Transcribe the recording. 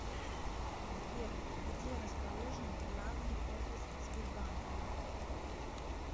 сбер где расположен главный офис сбербанка